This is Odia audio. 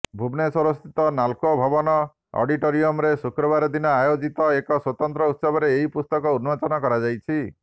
ଭୁବନେଶ୍ୱରସ୍ଥିତ ନାଲ୍କୋ ଭବନ ଅଡିଟୋରିୟମ୍ରେ ଶୁକ୍ରବାର ଦିନ ଆୟୋଜିତ ଏକ ସ୍ୱତନ୍ତ୍ର ଉତ୍ସବରେ ଏହି ପୁସ୍ତକ ଉନ୍ମୋଚନ କରାଯାଇଛି